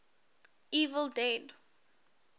evil dead